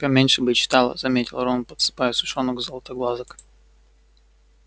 поменьше бы ты читала заметил рон подсыпая сушёных златоглазок